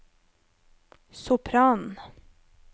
sopranen